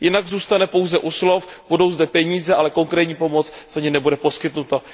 Jinak zůstane pouze u slov, budou zde peníze, ale konkrétní pomoc za ně nebude poskytnuta.